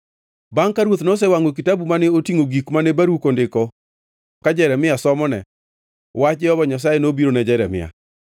Bangʼ ka ruoth nosewangʼo kitabu mane otingʼo gik mane Baruk ondiko ka Jeremia somone, wach Jehova Nyasaye nobiro ne Jeremia: